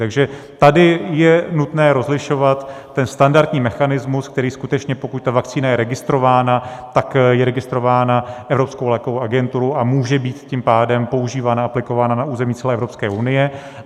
Takže tady je nutné rozlišovat ten standardní mechanismus, který skutečně, pokud ta vakcína je registrována, tak je registrována Evropskou lékovou agenturu a může být tím pádem používána, aplikována na území celé Evropské unie.